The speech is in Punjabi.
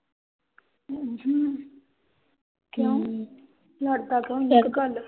ਉਹੂੰ ਕਿਉਂ? ਲੜਦਾ ਇੱਕ ਗੱਲ?